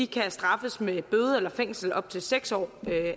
kan straffes med bøde eller fængsel i op til seks år